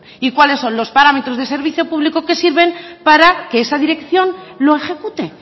y cuáles son los parámetros de servicio público que sirven para que esa dirección lo ejecute